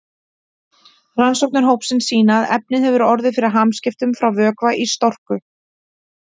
Rannsóknir hópsins sýna að efnið hefur orðið fyrir hamskiptum frá vökva í storku.